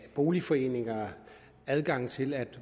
boligforeninger adgang til at